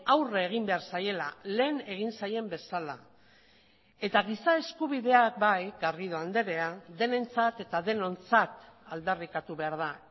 aurre egin behar zaiela lehen egin zaien bezala eta giza eskubideak bai garrido andrea denentzat eta denontzat aldarrikatu behar da